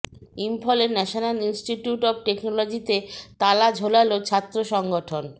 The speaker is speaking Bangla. ইম্ফলে ন্যাশনাল ইন্সটিটিউট অফ টেকনোলজিতে তালা ঝোলালো ছাত্ৰ সংগঠন